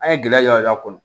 An ye gɛlɛya kɔnɔ